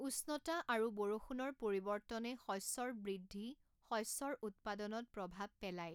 উষ্ণতা আৰু বৰষুণৰ পৰিৱৰ্তনে শষ্যৰ বৃদ্ধি, শষ্যৰ উৎপাদনত প্ৰভাৱ পেলায়।